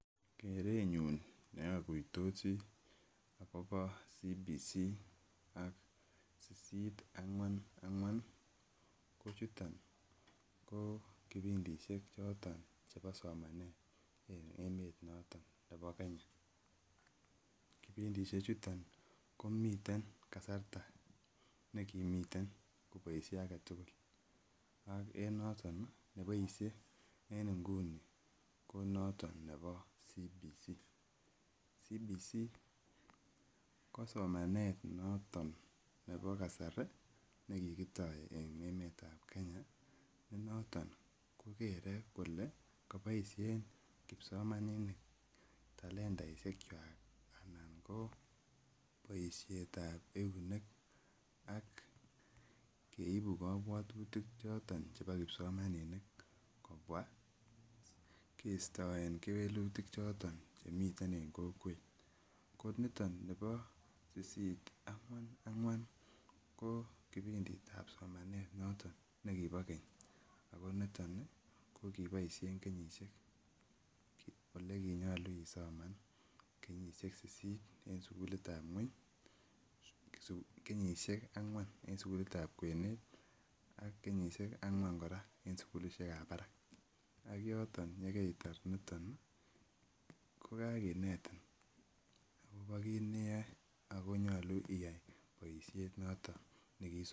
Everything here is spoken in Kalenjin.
Kerenyun nokuitosi akobo Competency Based Curriculum ak sisisit ang'wan ang'wan ko chuton ko kipindisiek choton chebo somanet en emet noton nebo Kenya. Kipindisiek chuton komiten kasarta nekimiten koboisie aketugul ak en noton neboisie en nguni ko noton nebo Competency Based Curriculum. Competency Based Curriculum ko somanet noton nebo kasari nekikitoo en emetab Kenya nenoton kokere kole koboisien kipsomaninik talentaisiek kwak anan ko boisiet ab eunek ak keibu kobwotutik choton chebo kipsomaninik kobwa kistoen kewelutik choton chemiten en kokwet. Ko niton nibo sisit ang'wan ang'wan ko kipinditab somonet noton nekibo keny ako niton ih ko kiboisien kenyisiek olekinyolu isoman kenyisiek sisit en sukulit ab ng'weny, kenyisiek ang'wan en sukulit ab kwenet ak kenyisiek ang'wan kora en sukulisiek ab barak ak yoton yekeitar niton ih ko kakinetin akobo kit neyoe ako nyolu iyai boisiet noton nekiisomonchi